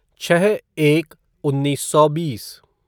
छः एक उन्नीस सौ बीस